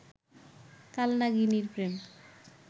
কাল নাগিনীর প্রেম